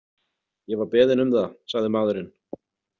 Ég var beðinn um það, sagði maðurinn.